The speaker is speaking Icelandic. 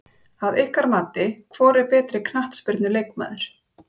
Að ykkar mati, hvor er betri knattspyrnu leikmaður?